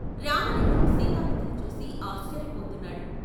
రామలింగం సీతాపతిని చూసి ఆశ్చర్యపోతున్నాడు.